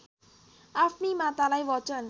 आफ्नी मातालाई बचन